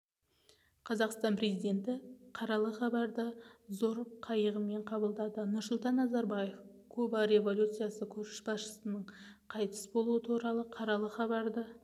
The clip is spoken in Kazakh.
қазақстан президенті қаралы хабарды зор қайығымен қабылдады нұрсұлтан назарбаев куба революциясы көшбасшысыныңқайтыс болуы туралы қаралы хабарды